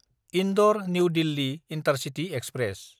इन्दर–निउ Delhi intercity express